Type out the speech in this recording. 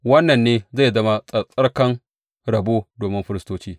Wannan ne zai zama tsattsarkan rabo domin firistoci.